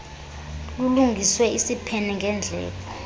lulungiswe isiphene ngendleko